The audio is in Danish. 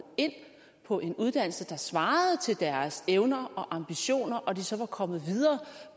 ind på en uddannelse der svarede til deres evner og ambitioner og de så var kommet videre